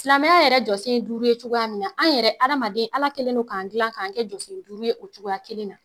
Silamɛya yɛrɛ jɔsen ye duuru ye cogoya min na, an yɛrɛ adamaden Ala kɛlen don k'an dilan k'an kɛ jɔsen duuru ye o cogoya kelen na